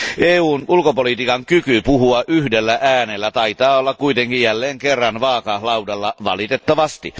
EUn ulkopolitiikan kyky puhua yhdellä äänellä taitaa olla kuitenkin jälleen kerran vaakalaudalla, valitettavasti.